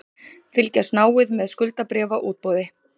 Fylgjast náið með skuldabréfaútboði